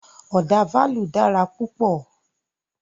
Ọ̀dà fálù dára púpọ̀.